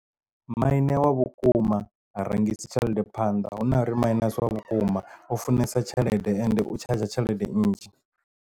Maine wa vhukuma ha rangisi tshelede phanḓa huna uri maine asi wa vhukuma u funesa tshelede ende u tshadzha tshelede nnzhi.